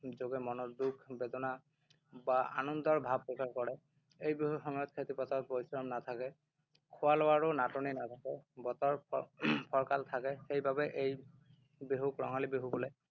যোগে মনৰ দুখ বেদনা বা আনন্দৰ ভাব প্ৰকাশ কৰে। এই বিহুৰ সময়ত খেতি-পথাৰত পৰিশ্ৰম নাথাকে। খোৱা-লোৱাৰো নাটনি নাথাকে, বতৰ উম ফৰকাল থাকে। সেইবাবে এই বিহুক ৰঙালী বিহু বোলে।